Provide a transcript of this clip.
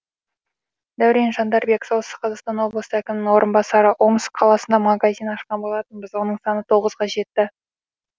дәурен жандарбек солтүстік қазақстан облысы әкімінің орынбасары омск қаласында магазин ашқан болатынбыз оның саны тоғызға жетті